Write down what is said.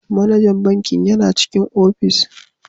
Manajan bankin yana cikin ofis.